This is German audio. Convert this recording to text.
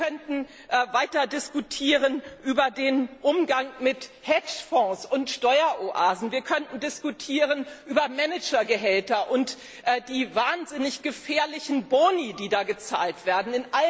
Wir könnten weiter diskutieren über den Umgang mit Hedgefonds und Steueroasen, wir könnten diskutieren über Managergehälter und die wahnsinnig gefährlichen Boni, die gezahlt werden.